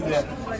Nə verəcək?